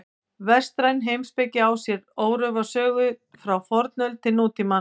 Vestræn heimspeki á sér órofa sögu frá fornöld til nútímans.